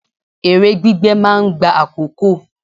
Èrè gbígbé máa ń gba àkókò.